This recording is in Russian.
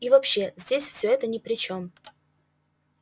и вообще здесь все это ни при чем